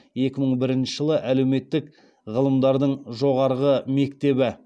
екі мың бірінші жылы әлеуметтік ғылымдардың жоғарғы мектебі